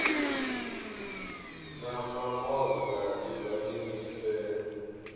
na mamoza ibvani ni fhele